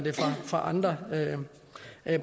fra andre